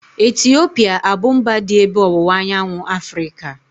Etiopia abu mba dị n'ebe ọwụwa anyanwụ Afrịka?